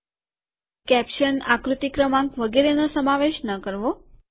caption મથાળું આકૃતિ ક્રમાંક વગેરેનો સમાવેશ ન કરો